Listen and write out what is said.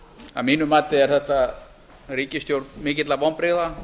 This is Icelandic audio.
að mínu mati er þetta ríkisstjórn mikilla vonbrigða